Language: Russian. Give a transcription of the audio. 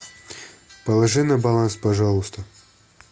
положи на баланс пожалуйста